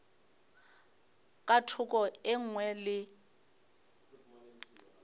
ka thoko e nngwe le